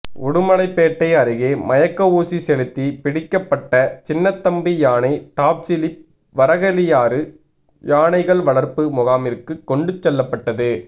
உடுமலைப்பேட்டை அருகே மயக்க ஊசி செலுத்தி பிடிக்கப்பட்ட சின்னத்தம்பி யானை டாப்சிலிப் வரகளியாறு யானைகள் வளர்ப்பு முகாமிற்கு கொண்டு செல்லப்பட்டது